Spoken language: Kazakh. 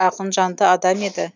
ақынжанды адам еді